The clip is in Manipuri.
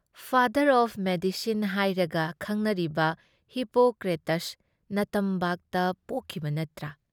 ꯐꯥꯗꯔ ꯑꯣꯏ ꯃꯦꯗꯤꯁꯤꯟ ꯍꯥꯏꯔꯒ ꯈꯪꯅꯔꯤꯕ ꯍꯤꯄꯣꯀ꯭ꯔꯦꯇꯁ ꯅꯇꯝꯕꯥꯛꯇ ꯄꯣꯛꯈꯤꯕ ꯅꯠꯇ꯭ꯔꯥ?